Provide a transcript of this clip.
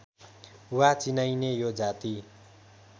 वा चिनाइने यो जाति